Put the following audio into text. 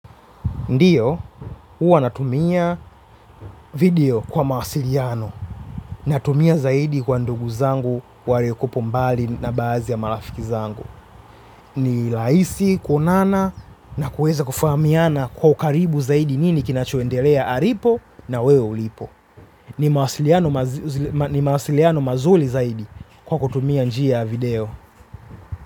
Ndiyo, huwa natumia video kwa mawasiliano natumia zaidi kwa ndugu zangu walio kuwapo mbali na baadhi ya marafiki zangu. Ni rahisi, kuonana na kuweza kufahamiana kwa ukaribu zaidi nini kina choendelea alipo na wewe ulipo. Ni mawasiliano mazuri zaidi kwa kutumia njia ya video.